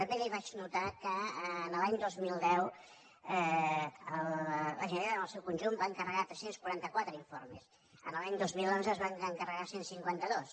també li faig notar que l’any dos mil deu la generalitat en el seu conjunt va encarregar tres cents i quaranta quatre informes l’any dos mil onze se’n van encarregar cent i cinquanta dos